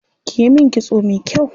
Kiyi min kitso me kyau.